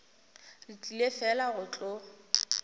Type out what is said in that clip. re tlile fela go tlo